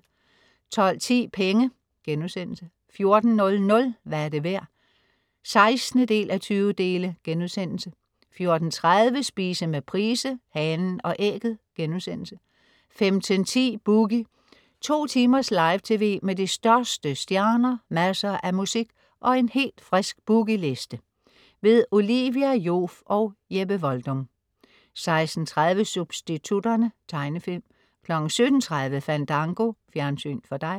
12.10 Penge* 14.00 Hvad er det værd? 16:20* 14.30 Spise med Price. Hanen og Ægget* 15.10 Boogie. To timers live tv med de største stjerner, masser af musik og en helt frisk Boogie Liste. Olivia Joof og Jeppe Voldum 16.30 Substitutterne. Tegnefilm 17.30 Fandango. Fjernsyn for dig